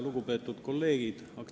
Lugupeetud kolleegid!